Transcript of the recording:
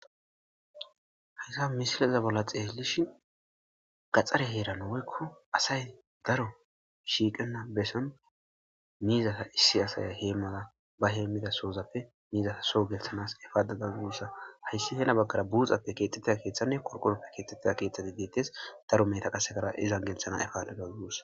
Hayssa missilezan xelishin gaxare heran woykko assay daro shiqena bessan mizatha issi assay hemanawu ba hemizasoppe mizatha so gelsananas epada dawuss hayssi hena baggara buxa kethida kethane qorqoron kexida kethi bethess daro mehetha izzan gelsanawu epada dawus.